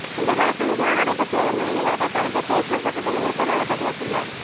இந்த வழக்கு விசாரணை நடைபெற்று வரும் நிலையில் அவர் தனது பேஸ்புக் பக்கத்தில் உருக்காமான பதிவிட்டுள்ளார்